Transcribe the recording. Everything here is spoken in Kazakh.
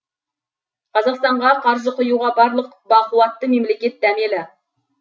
қазақстанға қаржы құюға барлық бақуатты мемлекет дәмелі